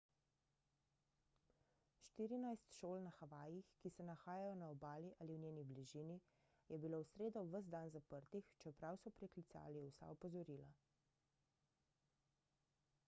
štirinajst šol na havajih ki se nahajajo na obali ali v njeni bližini je bilo v sredo ves dan zaprtih čeprav so preklicali vsa opozorila